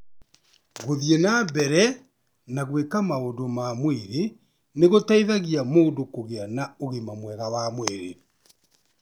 Gũthiĩ na mbere na gwĩka maũndũ ma mwĩrĩ nĩ gũteithagia mũndũ kũgĩa na ũgima mwega wa mwĩrĩ.